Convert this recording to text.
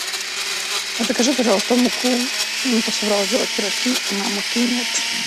закажи пожалуйста муку а то собралась делать пирожки а муки нет